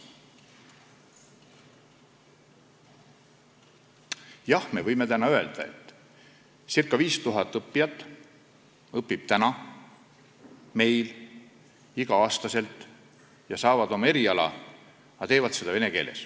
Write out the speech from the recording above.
Jah, me võime öelda, et ca 5000 inimest õpib meil igal aastal ja nad saavad endale eriala, aga nad teevad seda vene keeles.